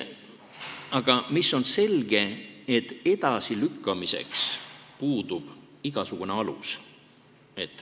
Aga on selge, et edasilükkamiseks puudub igasugune alus.